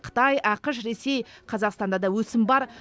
қытай ақш ресей қазақстанда да өсім бар